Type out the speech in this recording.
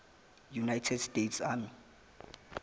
united states army